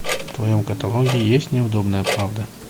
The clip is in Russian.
в твоем каталоге есть неудобная правда